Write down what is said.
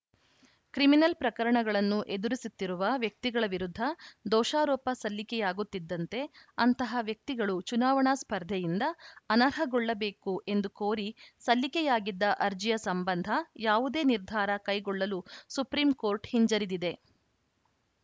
criminal ಪ್ರಕರಣಗಳನ್ನು ಎದುರಿಸುತ್ತಿರುವ ವ್ಯಕ್ತಿಗಳ ವಿರುದ್ಧ ದೋಷಾರೋಪ ಸಲ್ಲಿಕೆಯಾಗುತ್ತಿದ್ದಂತೆ ಅಂತಹ ವ್ಯಕ್ತಿಗಳು ಚುನಾವಣಾ ಸ್ಪರ್ಧೆಯಿಂದ ಅನರ್ಹಗೊಳ್ಳಬೇಕು ಎಂದು ಕೋರಿ ಸಲ್ಲಿಕೆಯಾಗಿದ್ದ ಅರ್ಜಿಯ ಸಂಬಂಧ ಯಾವುದೇ ನಿರ್ಧಾರ ಕೈಗೊಳ್ಳಲು ಸುಪ್ರೀಂಕೋರ್ಟ್‌ ಹಿಂಜರಿದಿದೆ